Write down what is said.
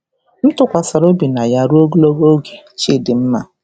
M tụkwasara obi na ya ruo ogologo oge." – Chidinma.